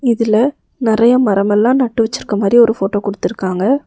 இதுல நெறைய மரமெல்லா நட்டு வச்சிருக்க மாரி ஒரு போட்டோ குடுத்திருக்காங்க.